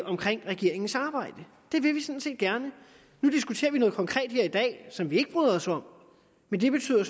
om regeringens samarbejde det vil vi sådan set gerne nu diskuterer vi noget konkret som vi ikke bryder os om men det betyder